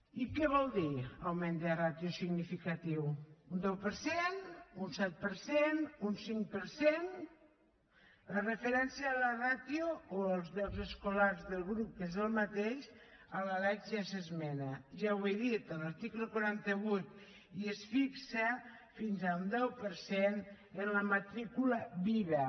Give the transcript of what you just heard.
i què vol dir augment de ràtio significatiu un deu per cent un set per cent un cinc per cent la referència a la ràtio o als llocs escolars del grup que és el mateix a la lec ja s’esmenta ja ho he dit a l’article quaranta vuit i es fixa fins al deu per cent en la matrícula viva